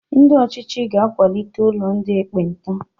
Ndị ọ̀chịchị ga-akwalite ụlọ ndị ekpenta.